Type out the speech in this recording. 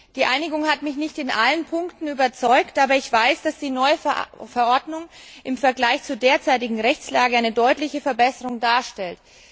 Die Einigung hat mich nicht in allen Punkten überzeugt, aber ich weiß, dass die neue Verordnung im Vergleich zur derzeitigen Rechtslage eine deutliche Verbesserung darstellt.